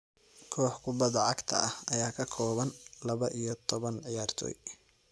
Koox kubbadda cagta ah ayaa ka kooban laba iyo toban ciyaartoy.